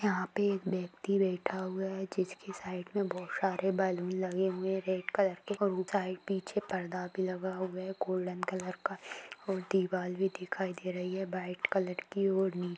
यहाँ पे एक व्यक्ति बेठा हुआ है जिसके साईड में बहुत सारे बलून लगे हुए है रेड कलर और उप साइड पीछे परदा भी लगा हुआ है गोल्डन कलर का और दीवाल भी दिखाइ दे रही है वाईट कलर की और--